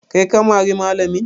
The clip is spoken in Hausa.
Kai ka mari malamin?